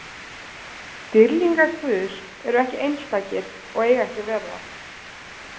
Dýrlingar Guðs eru ekki einstakir og eiga ekki að vera það.